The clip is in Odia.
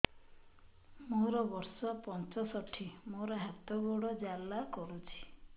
ମୋର ବର୍ଷ ପଞ୍ଚଷଠି ମୋର ହାତ ଗୋଡ଼ ଜାଲା କରୁଛି